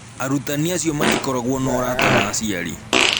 Arutani acio matikoragwo na ũrata na aciari.